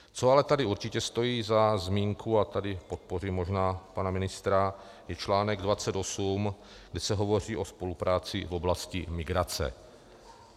Co ale tady určitě stojí za zmínku, a tady podpořím možná pana ministra, je článek 28, kde se hovoří o spolupráci v oblasti migrace.